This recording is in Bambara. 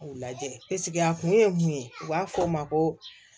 U lajɛ a kun ye mun ye u b'a fɔ o ma ko